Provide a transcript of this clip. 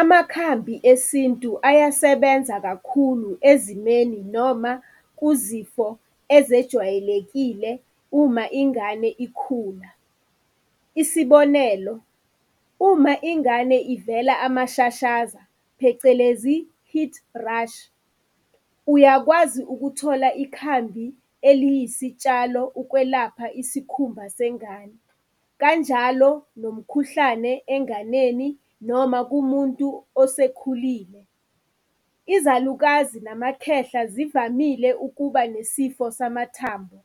Amakhambi esintu ayasebenza kakhulu ezimeni noma kuzifo ezejwayelekile uma ingane ikhula. Isibonelo, uma ingane ivela amashashaza phecelezi, heat rash, uyakwazi ukuthola ikhambi eliyisitshalo ukwelapha isikhumba sengane. Kanjalo nomkhuhlane enganeni noma kumuntu osekhulile. Izalukazi namakhehla zivamile ukuba nesifo samathambo